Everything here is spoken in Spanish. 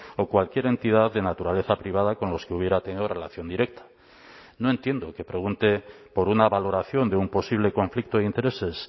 o cualquier entidad de naturaleza privada con los que hubiera tenido relación directa no entiendo que pregunte por una valoración de un posible conflicto de intereses